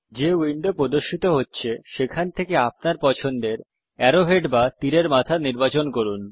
যে উইন্ডো প্রদর্শিত হছে সেখান থেকে আপনার পছন্দের অ্যারো হেড বা তীরের মাথা নির্বাচন করুন